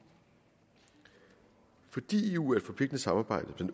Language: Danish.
fordi eu er et forpligtende samarbejde